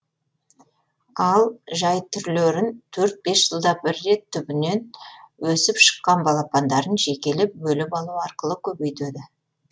ал жай түрлерін төрт бес жылда бір рет түбінен өсіп шыққан балапандарын жекелеп бөліп алу арқылы көбейтеді